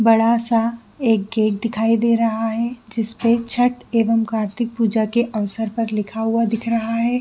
बड़ा सा एक गेट दिखाई दे रहा है जिस पे छठ एंव कार्तिक पूजा के अवसर पर लिखा हुआ दिख रहा है।